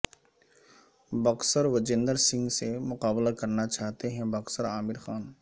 boxer Vijender Singh سے مقابلہ کرنا چاہتے ہیں باکسر عامر خان